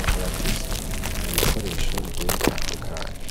akaba afise ibikoresho bigiye bitandukanye.